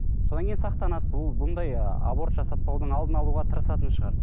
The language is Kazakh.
содан кейін сақтанады бұл бұндай ыыы аборт жасатпаудың алдын алуға тырысатын шығар